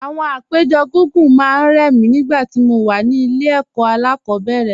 Àwọn àpéjọ gígùn máa ń rẹ̀ mí nígbà tí mo wà ní ilé ẹ̀kọ́ alákọ̀ọ́bẹ̀rẹ̀